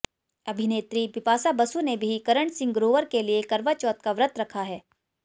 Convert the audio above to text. अभिनेत्री बिपाशा बसु ने भी करण सिंह ग्रोवर के लिए करवाचौथ का व्रत रखा है